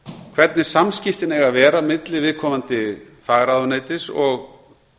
hvernig samskiptin eiga að vera á milli viðkomandi fagráðuneytis og